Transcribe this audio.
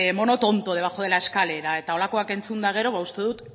mono tonto debajo de la escalera eta holakoak entzunda gero ba uste dut